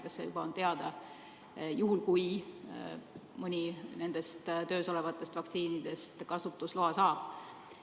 Kas see käib perearstide kaudu, juhul kui mõni nendest töös olevatest vaktsiinidest kasutusloa saab?